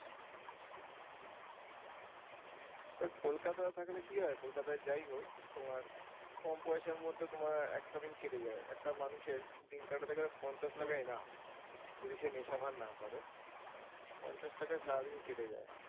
তবে কলকাতায় থাকলে কি হয় কলকাতায় যাই হোক তোমার কম পয়সার মধ্যে তোমার একটা দিন কেটে যায় একটা মানুষের দিন কাটাতে গেলে পঞ্চাশ টাকা enough যদি সে নেশা ভাং না করে। পঞ্চাশ টাকায় সারাদিন কেটে যায়।